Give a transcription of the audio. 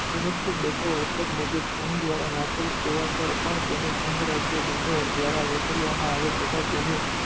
અનુચ્છેદ બસો અડસઠ મુજબ સંઘ દ્વારા ઠરેલ સેવા પણ સંઘ રાજ્યો બન્ને ઠરાવ વસુલવામાં આવે છે તેનું